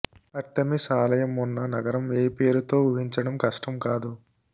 Artemis ఆలయం ఉన్న నగరం ఏ పేరుతో ఊహించడం కష్టం కాదు